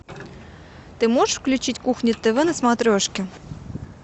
ты можешь включить кухня тв на смотрешке